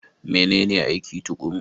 Menene aiki tuƙuru?